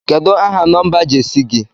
Kedu aha nọmba Jesi gi?